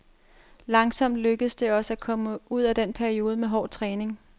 Langsomt lykkedes det os at komme ud af denne periode med hård træning.